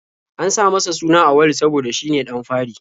An sa masa suna Auwalu saboda shine ɗan fari.